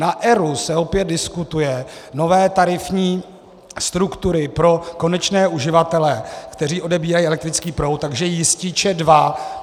Na ERÚ se opět diskutují nové tarifní struktury pro konečné uživatele, kteří odebírají elektrický proud, takže jističe dva.